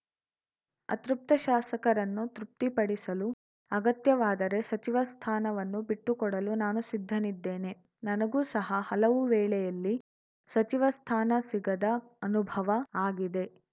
ಅತೃಪ್ತ ಶಾಸಕರನ್ನು ತೃಪ್ತಿಪಡಿಸಲು ಅಗತ್ಯವಾದರೆ ಸಚಿವ ಸ್ಥಾನವನ್ನು ಬಿಟ್ಟುಕೊಡಲು ನಾನು ಸಿದ್ಧನಿದ್ದೇನೆ ನನಗೂ ಸಹ ಹಲವು ವೇಳೆಯಲ್ಲಿ ಸಚಿವ ಸ್ಥಾನ ಸಿಗದ ಅನುಭವ ಆಗಿದೆ